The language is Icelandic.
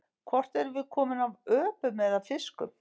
Hvort erum við komin af öpum eða fiskum?